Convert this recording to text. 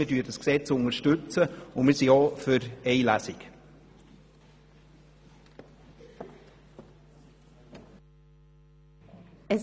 Wir unterstützen es, und wir sind auch für eine einzige Lesung.